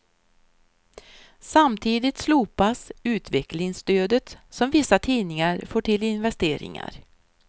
Samtidigt slopas utvecklingsstödet som vissa tidningar får till investeringar.